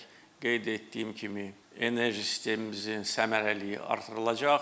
Qeyd etdiyim kimi, enerji sistemimizin səmərəliliyi artırılacaq.